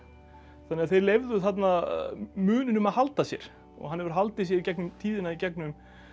þannig að þeir leyfðu þarna muninum að halda sér og hann hefur haldið sér í gegnum tíðina í gegnum